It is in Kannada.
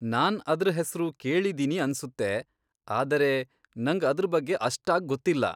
ನಾನ್ ಅದ್ರ್ ಹೆಸ್ರು ಕೇಳಿದೀನಿ ಅನ್ಸುತ್ತೆ, ಆದರೆ ನಂಗ್ ಅದ್ರ್ ಬಗ್ಗೆ ಅಷ್ಟಾಗ್ ಗೊತ್ತಿಲ್ಲ.